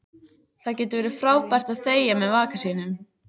Það getur verið frábært að þegja með maka sínum.